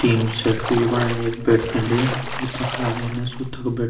tin shed कु ये बणाई यख बैठनली जुत्ता खालीन सु तख बैठ --